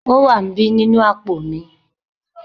o wa n bi ninu apo mi